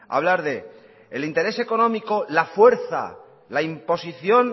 hablar del interés económico la fuerza la imposición